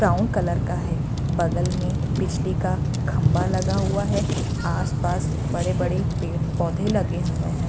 Brown colour का है बगल में बिजली का खंभा लगा हुआ है आसपास बड़े-बड़े पेड़-पौधे लगे हुए है।